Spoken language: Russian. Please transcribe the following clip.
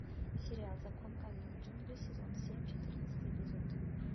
сериал закон каменных джунглей сезон семь четырнадцатый эпизод